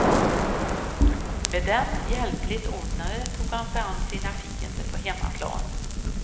Med dem hjälpligt ordnade tog han sig an sina fiender på hemmaplan.